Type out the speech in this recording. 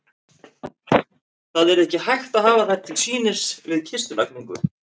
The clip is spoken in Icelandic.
Það yrði ekki hægt að hafa þær til sýnis við kistulagningu.